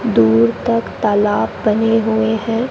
दूर तक तालाब बने हुए हैं।